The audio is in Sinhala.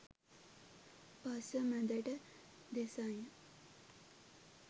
පස්ස මැදට දෙසඤ්ඤා